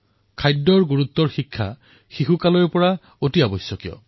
খাদ্যাভ্যাসৰ গুৰুত্বৰ শিক্ষা শৈশৱতে হোৱাটো আৱশ্যক